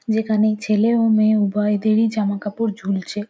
যেখানে ছেলে ও মেয়ে উভয়দেরই জামাকাপড় ঝুলছে।